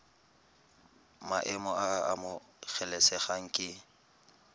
maemo a a amogelesegang ke